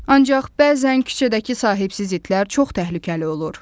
Ancaq bəzən küçədəki sahibsiz itlər çox təhlükəli olur.